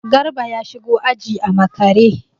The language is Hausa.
Garba ya shigo aji a makare.